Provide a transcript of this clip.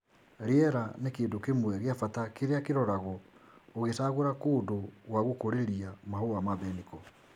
Rĩera nĩ kĩndũ kĩmwe gĩa bata kĩrĩa kĩroragwo ũgĩcagũra kũndũ gwa gũkũrĩria Mahũa ma mbeniko .